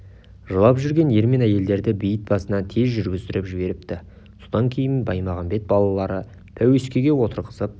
жылап жүрген ер мен әйелдерді бейіт басынан тез жүргіздіріп жіберіпті содан кейін баймағамбет балаларды пәуескеге отырғызып